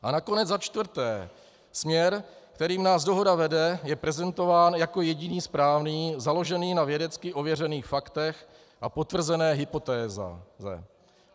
A nakonec za čtvrté, směr, kterým nás dohoda vede, je prezentován jako jediný správný, založený na vědecky ověřených faktech a potvrzené hypotéze.